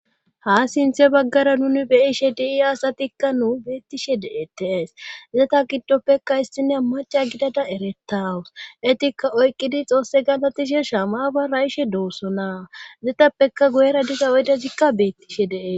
ha sinthe baggara nuni beishe dii asatikka nuu beettishe de7etees zeta giddoppekka issine maca gidada eretawus etikka oyqqidi xoosse galatishe shamabara ishe doossona zetappeka guyera diza oydazikka beettishe dee